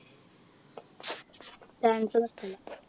Dance ഒന്നും ഇഷ്ട്ടല്ല